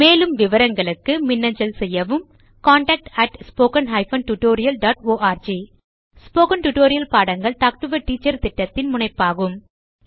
மேலும் விவரங்களுக்கு மின்னஞ்சல் செய்யவும் contactspoken tutorialorg ஸ்போகன் டுடோரியல் பாடங்கள் டாக் டு எ டீச்சர் திட்டத்தின் முனைப்பாகும்